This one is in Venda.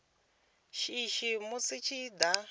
shishi musi zwi tshi da